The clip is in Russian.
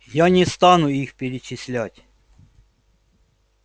я не стану их перечислять